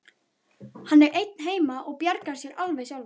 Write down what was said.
Hann er einn heima og bjargar sér alveg sjálfur.